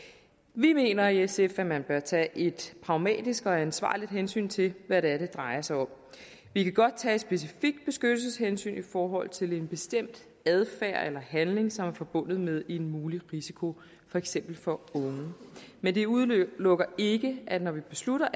vi mener i sf at man bør tage et pragmatisk og ansvarligt hensyn til hvad det er det drejer sig om vi kan godt tage et specifikt beskyttelseshensyn i forhold til en bestemt adfærd eller handling som er forbundet med en mulig risiko for eksempel for unge men det udelukker ikke at når vi beslutter